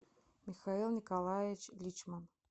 михаил николаевич личман